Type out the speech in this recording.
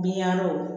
Binyangaw